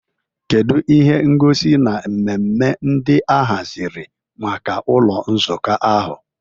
Kedu ihe ngosi na mmemme ndị a haziri maka ụlọ nzukọ ahụ?